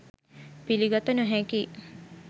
පිළිගත නොහැකියි